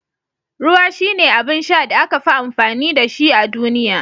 Ruwa shine abin sha da aka fi amfani da shi a duniya